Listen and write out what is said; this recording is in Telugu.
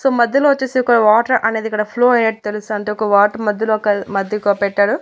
సో మధ్యలో వచ్చేసి ఒక వాటర్ అనేది ఇక్కడ ఫ్లో అయినట్టు తెలుస్తాంటే ఒక వాటర్ మధ్యలో ఒక మధ్య ఒక పెట్టారు.